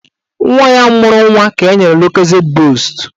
Nwaanyị ahụ mụrụ nwa ka enyere lokozed boostu